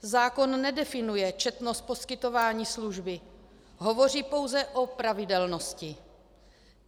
Zákon nedefinuje četnost poskytování služby, hovoří pouze o pravidelnosti.